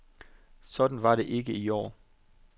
Sådan var det ikke i år.